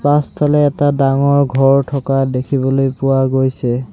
পাছফালে এটা ডাঙৰ ঘৰ থকা দেখিবলৈ পোৱা গৈছে।